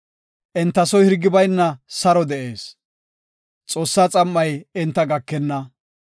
Enta soy hirgi bayna saro de7ees; Xoossaa xam7ay enta gakenna.